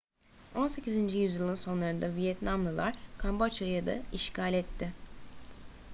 18. yüzyılın sonlarında vietnamlılar kamboçya'yı da işgal etti